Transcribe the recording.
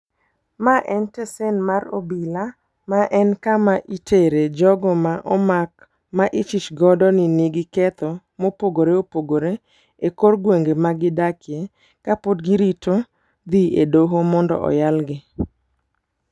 Ma en tesen mar obila, ma en kama itere jogo ma omak ma ichich godo ni nigi ketho mopogore opogore ekor gwenge magidakie kapod girito dhi e doho mondo oyalgi.